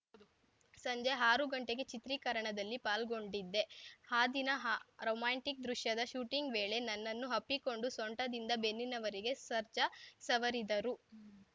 ಸಂಜೆ ಆರು ಗಂಟೆವರೆಗೆ ಚಿತ್ರೀಕರಣದಲ್ಲಿ ಪಾಲ್ಗೊಂಡಿದ್ದೆ ಆ ದಿನ ಹಾ ರೊಮ್ಯಾಂಟಿಕ್‌ ದೃಶ್ಯದ ಶೂಟಿಂಗ್‌ ವೇಳೆ ನನ್ನನ್ನು ಅಪ್ಪಿಕೊಂಡು ಸೊಂಟದಿಂದ ಬೆನ್ನಿನವರೆಗೆ ಸರ್ಜಾ ಸವರಿದರು